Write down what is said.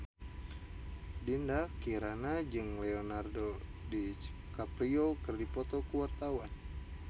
Dinda Kirana jeung Leonardo DiCaprio keur dipoto ku wartawan